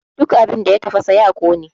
Duk abin da ya tafasa ya ƙone!